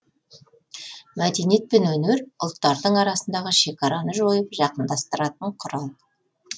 мәдениет пен өнер ұлттардың арасындағы шекараны жойып жақындастыратын құрал